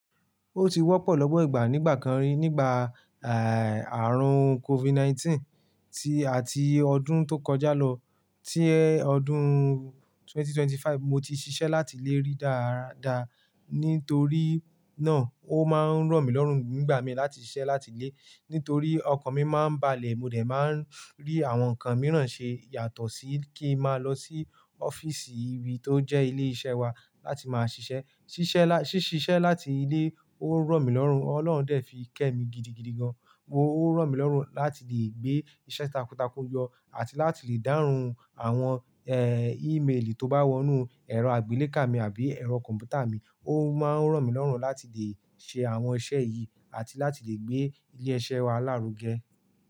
Ó ti wọ́pọ̀ lọ́pọ́ ìgbà nígbà kan rí nígbà, àrùn COVID-19 tí, àti ọdún tó kọjá lọ. Tí ọdún ẹgbẹ̀rún méjì ó lé ẹ́ẹ́dọ́gbọ̀n mo ti ṣiṣẹ́ láti ilé rí dára dáa, nítorí náà ó máa ń ràn mí lọ́rùn nigbà mi láti ṣiṣẹ́ láti ilé. Nítorí ọkan mi máa ń balẹ̀, mo dẹ̀ máa ń rí àwọn nǹkan mìíràn ṣe yàtọ̀ sí kí ń máa lọ sí ọ́fíìsì ìbí tó jẹ́ ilé iṣẹ́ wa láti máa ṣiṣẹ́. Ṣiṣẹ́ lá, ṣí ṣiṣẹ́ láti ilé ó ràn mí lọ́rùn. Ọlọ́run dẹ̀ fi kẹ́ mi gidigidi gan. Ó ń ràn mí lọ́rùn láti lè gbé iṣẹ́ takuntakun yọ àti láti lè dáhùn àwọn, ímeèlì tó bá wọnú ẹ̀rọ àgbélé ká mi àbí ẹ̀rọ kọ̀m̀pútà mi. Ó máa ń ràn mí lọ́rùn láti lè ṣe àwọn iṣẹ́ yìí àti láti lè gbé ilé iṣẹ́ wa lárugẹ.